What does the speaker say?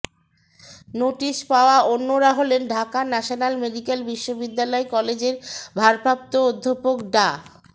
notice পাওয়া অন্যরা হলেন ঢাকা ন্যাশনাল মেডিকেল বিশ্ববিদ্যালয় কলেজের ভারপ্রাপ্ত অধ্যক্ষ ডা